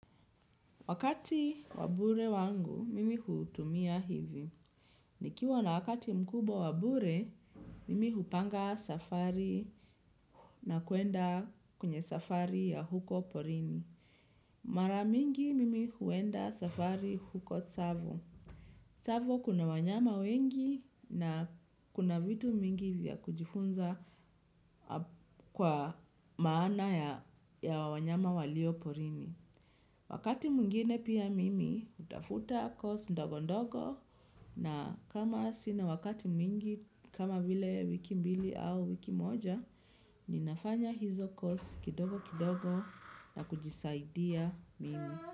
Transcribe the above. Wakati wa bure wangu, mimi hutumia hivi. Nikiwa na wakati mkubwa wa bure, mimi hupanga safari na kwenda kwenye safari ya huko porini. Mara mingi mimi huenda safari huko Savo. Savo kuna wanyama wengi na kuna vitu mingi vya kujifunza kwa maana ya wanyama walio porini. Wakati mwingine pia mimi hutafuta kozi ndogo ndogo na kama sina wakati mingi kama vile wiki mbili au wiki moja, ninafanya hizo kozi kidogo kidogo na kujisaidia mimi.